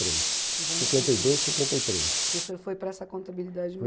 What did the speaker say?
três. Nos anos cinquenta. Cinquenta e dois, cinquenta e três. Que o senhor foi para essa contabilidade